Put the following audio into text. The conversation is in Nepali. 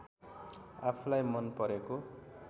आफुलाई मनपरेको